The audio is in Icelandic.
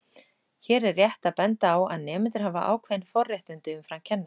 Hér er rétt að benda á að nemendur hafa ákveðin forréttindi umfram kennara.